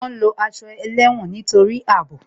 Wọn ń lo aṣọ ẹlẹ́wọ̀n nítorí àbò